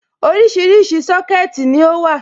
Oríṣiríṣi Sọ́kẹ̀tì ni ó wà.